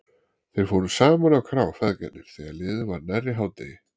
Þeir fóru saman á krá, feðgarnir, þegar liðið var nærri hádegi.